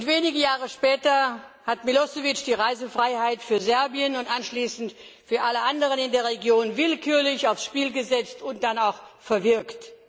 Wenige Jahre später hat Milošević die Reisefreiheit für Serbien und anschließend für alle anderen Länder in der Region willkürlich aufs Spiel gesetzt und dann auch verwirkt.